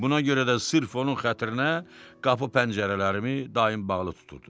Buna görə də sırf onun xətrinə qapı-pəncərələrimi daim bağlı tuturdum.